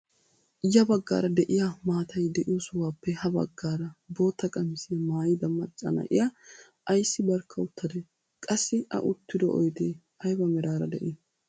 ya baggaara de'iyaa maatay de'iyoo sohuwaappe ha baggaara bootta qamisiyaa maayida macca na'iyaa ayssi barkka uttadee? qassi a uttido oydee ayba meraara de'ii?